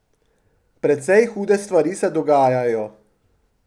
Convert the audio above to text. Precej hude stvari se dogajajo.